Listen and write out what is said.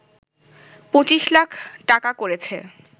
২৫ লাখ টাকা করেছে